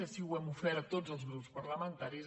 així ho hem ofert a tots els grups parlamentaris